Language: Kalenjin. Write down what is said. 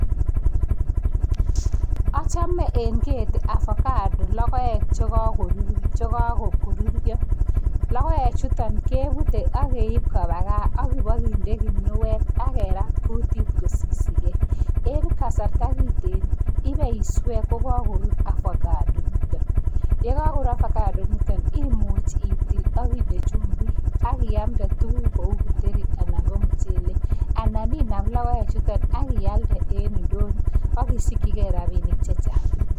Achame eng keti, avacado logoek che kakoruriio. Logoek chutok, keoutei ak keip kopa gaa, ak kobakinde kinuet, ak kerat kutit ak kosishigei. akoi kasar kopaiswe ngokakorur avacado chutok. Yekakorur, avacado nitok imuch itil ak inde chumbik ak iamte tukuk kou kitheri anan ko mchelek. Anan inam logoek chutok ak ialde eng ndonyo ak isikchigei rabinik chechang.